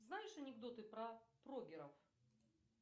знаешь анекдоты про прогеров